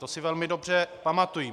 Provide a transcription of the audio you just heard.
To si velmi dobře pamatuji.